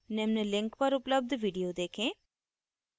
निम्न link पर उपलब्ध video देखें